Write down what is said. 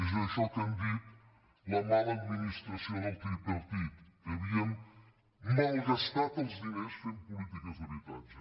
és això que n’han dit la mala administració del tripartit que havíem malgastat els diners fent polítiques d’habitatge